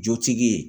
Jotigi ye